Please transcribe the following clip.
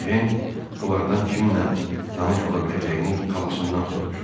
Ejen onlardan kimlə tanış ola biləcəyini xalasından soruşdu.